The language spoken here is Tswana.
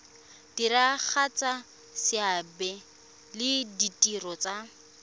diragatsa seabe le ditiro tsa